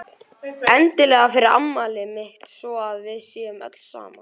Endilega fyrir afmælið mitt svo að við séum öll saman.